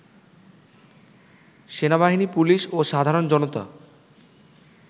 সেনাবাহিনী, পুলিশ ও সাধারণ জনতা